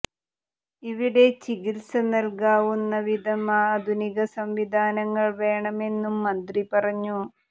ഇവിടെ ചികിത്സ നൽകാവുന്ന വിധം ആധുനിക സംവിധാനങ്ങൾ വേണമെന്നും മന്ത്രി പറഞ്ഞു